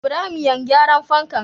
Ibrahim yan gyaran fanka